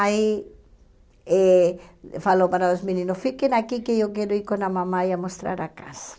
Aí, eh falou para os meninos, fiquem aqui que eu quero ir com a mamãe a mostrar a casa.